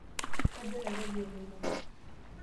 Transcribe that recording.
Kajo Nairobi eloito.